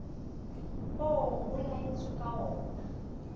oo ho laetsweng ka oona